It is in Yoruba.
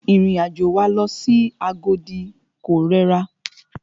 Ìrìn àjò wa lọ sí Agodi ko rẹra.